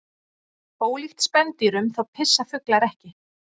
Ólíkt spendýrum þá pissa fuglar ekki.